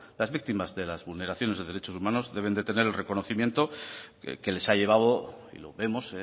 las víctimas de las vulneraciones de derechos humanos deben tener el reconocimiento que les ha llevado y lo vemos